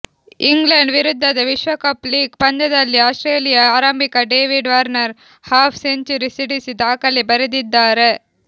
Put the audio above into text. England ವಿರುದ್ಧದ ವಿಶ್ವಕಪ್ league ಪಂದ್ಯದಲ್ಲಿ ಆಸ್ಟ್ರೇಲಿಯಾ ಆರಂಭಿಕ ಡೇವಿಡ್ ವಾರ್ನರ್ ಹಾಫ್ ಸೆಂಚುರಿ ಸಿಡಿಸಿ ದಾಖಲೆ ಬರೆದಿದ್ದಾರೆ